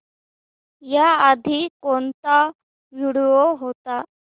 याआधी कोणता व्हिडिओ होता